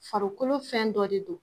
Farikolo fɛn dɔ de don